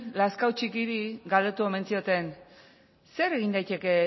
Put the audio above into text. lazkao txikiri galdetu omen zioten zer egin daiteke